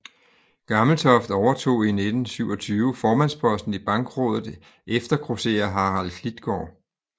Gammeltoft overtog i 1927 formandsposten i Bankrådet efter grosserer Harald Klitgaard